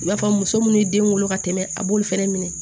I b'a fɔ muso minnu ye den wolo ka tɛmɛ a b'olu fɛnɛ minɛ